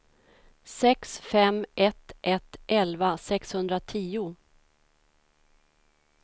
sex fem ett ett elva sexhundratio